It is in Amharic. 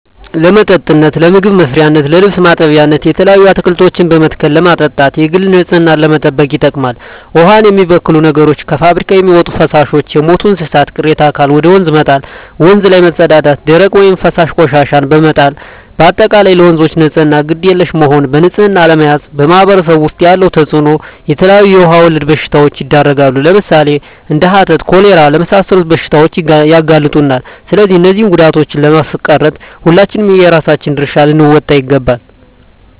ለመጠጥነት ለምግብ መስሪያነት ለልብስ ማጠቢያነት የተለያዩ አትክልቶችን በመትከል ለማጠጣት የግል ንፅህናን ለመጠበቅ ይጠቅማል ዉሃን የሚበክሉ ነገሮች - ከፍብሪካ የሚወጡ ፈሳሾች - የሞቱ የእንስሳት ቅሬታ አካል ወደ ወንዝ መጣል - ወንዝ ላይ መፀዳዳት - ደረቅ ወይም ፈሳሽ ቆሻሻዎችን በመጣል - በአጠቃላይ ለወንዞች ንፅህና ግድ የለሽ መሆን በንፅህና አለመያዝ በማህበረሰቡ ዉስጥ ያለዉ ተፅእኖ - የተለያዩ የዉሃ ወለድ በሽታዎች ይዳረጋሉ ለምሳሌ፦ እንደ ሀተት፣ ኮሌራ ለመሳሰሉት በሽታዎች ያጋልጡናል ስለዚህ እነዚህን ጉዳቶችን ለማስቀረት ሁላችንም የየራሳችን ድርሻ ልንወጣ ይገባል